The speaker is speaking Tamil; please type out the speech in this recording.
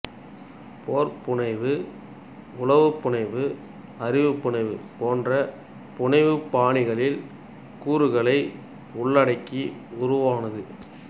போர் புனைவு உளவுப் புனைவு அறிபுனை போன்ற புனைவுப் பாணிகளின் கூறுகளை உள்ளடக்கி உருவானது